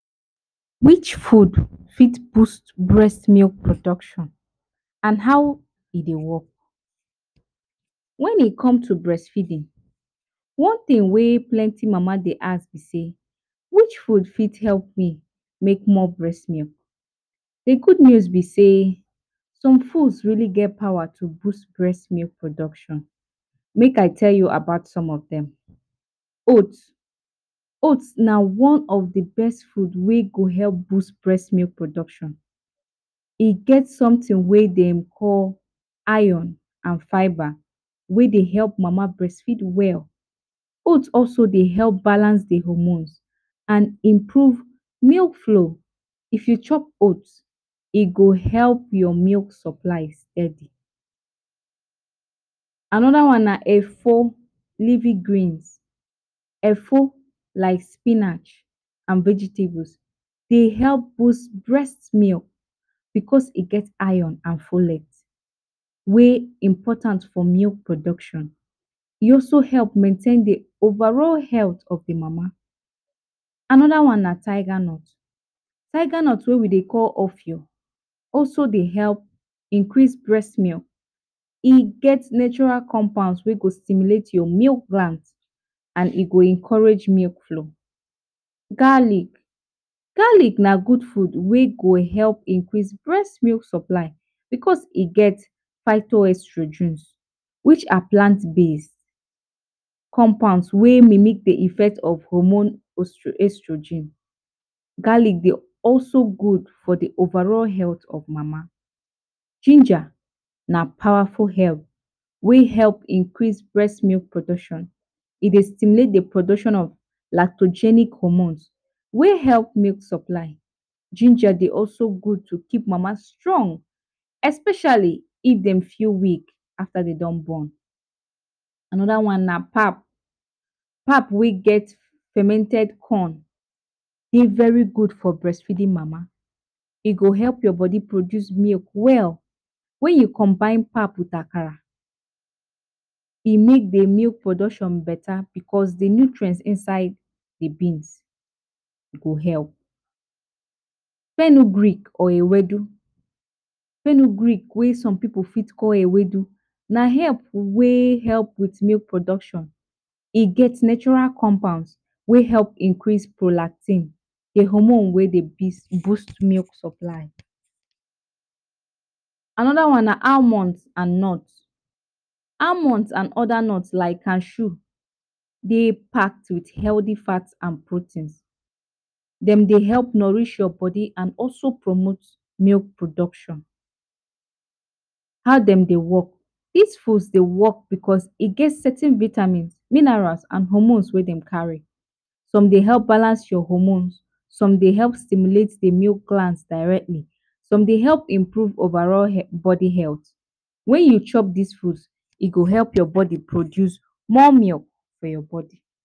Which food fit boost breast milk production and how e Dey work, wen e come to breast feeding one tin wey plenty mana Dey ask b say which food fit help me make more breast milk, d good news b say some food only get powa to boost breast milk production, make I tell u about some of dem, oats, oats na one of d best food wey go help produce breast milk production e get some tin wey dem call iron and fiber wey Dey help mama breast feed well, oat also Dey help balance d hormones and improve milk flow, if u chop oat e go help ur milk supply steady, anoda one na efo, efo like spinach and vegetable, Dey help boost breast milk because e get iron and folic wey important for milk production, e also help maintain d overall health of d mama, anoda one na tiger nut, tiger nut wey we Dey call also Dey help increase breast milk, e get natural compounds wey go stimulate your milk bank and e go encourage milk flow, garlic, garlic na good food wey go help improve breast milk supply because e get estrogens which are plant based compounds wey mimic d hormone estrogen, garlic Dey also good for d overall health of d mama, ginger na powerful help wey help increase breast milk production, e Dey stimulate d production of lactogenic hormones wey help milk supplies, ginger Dey also good to keep mama strong especially if dem feel weak afta dem don born, anoda one na pap, pap wey get fermented corn Dey very good for breastfeeding mama e go help your body produce milk well, wen u combine pap with akara, e make d milk production beta because d milk nutrients inside d beans go help, fernu Greek or ewedu, fernu Greek wey some pipu for call ewedu na help wey help with milk production, e get natural compounds wey help increase prolactin, d hormone wey Dey boost milk supply, anoda one na almond and nuts, almonds and oda nuts like cashew Dey part with healthy fats and proteins dem Dey help nourish your body and also promote milk production, how dem Dey work, dos food Dey work because e get certain vitamins, minerals and hormone wey dem carry, some Dey help balance your hormones some Dey help stimulate d milk plants directly, some Dey help improve overall body health wen u chop dos foods e go help your body produce more milk for your body.